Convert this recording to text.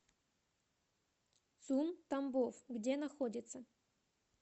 цум тамбов где находится